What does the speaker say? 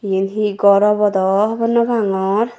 iyen he gor obo do hobor no pangor.